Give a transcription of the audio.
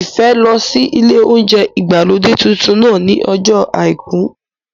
Ìfẹ́ lọ sí ilé óúnjẹ ìgbàlódé tuntun náà ní ọjọ́ àìkú